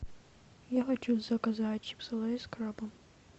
я хочу заказать чипсы лейс с крабом